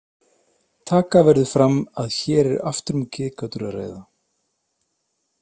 Taka verður fram að hér er aftur um getgátur að ræða.